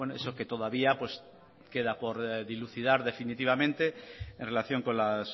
eso que todavía pues queda por dilucidar definitivamente en relación con las